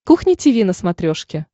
кухня тиви на смотрешке